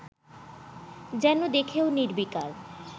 যেন দেখেও নির্বিকার